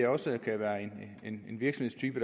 også kan være en virksomhedstype